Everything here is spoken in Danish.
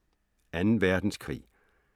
2. Verdenskrig